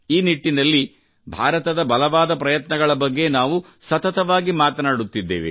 ಈ ನಿಟ್ಟಿನಲ್ಲಿ ಭಾರತದ ಬಲವಾದ ಪ್ರಯತ್ನಗಳ ಬಗ್ಗೆ ನಾವು ಸತತವಾಗಿ ಮಾತನಾಡುತ್ತಿದ್ದೇವೆ